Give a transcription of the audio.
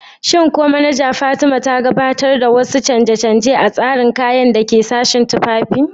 Shin ko manaja Fatima ta gabatar da wasu canje-canje a tsarin kayan da ke sashin tufafi?